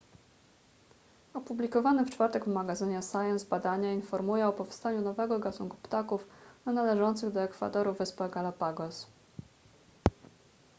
opublikowane w czwartek w magazynie science badanie informuje o powstaniu nowego gatunku ptaków na należących do ekwadoru wyspach galapagos